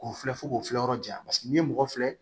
K'o filɛ fo k'o filɛ yɔrɔ jan paseke n'i ye mɔgɔ filɛ